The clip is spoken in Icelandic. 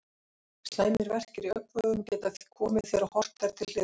Slæmir verkir í augnvöðvum geta komið þegar horft er til hliðanna.